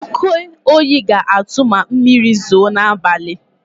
Oke oyi ga-atụ ma mmiri zoo n'abalị.